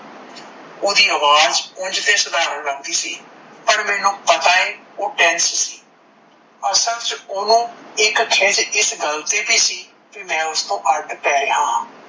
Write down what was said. Audi ਆਵਾਜ ਉਂਝ ਤੇ ਸਧਾਰਨ ਲੱਗਦੀ ਸੀ, ਪਰ ਮੈਂਨੂੰ ਪਤਾ ਆ ਓਹ tense ਸੀ, ਅਸਲ ਚ ਓਨੁ ਇੱਕ ਖਿੱਝ ਇਸ ਗੱਲ ਤੇ ਵੀ ਸੀ ਕੀ ਮੈ ਉਸਤੋਂ ਅੱਡ ਪੈ ਰਿਹਾ ਹਾਂ,